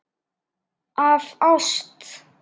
Af ást.